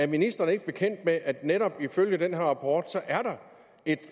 ministeren ikke bekendt med at der netop ifølge den her rapport er